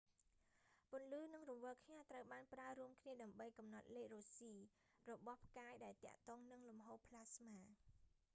ពន្លឺនិងរង្វិលខ្ញាល់ត្រូវបានប្រើរួមគ្នាដើម្បីកំណត់លេខរ៉ូស៊ី rossy របស់ផ្កាយដែលទាក់ទងនឹងលំហូរប្លាស្មា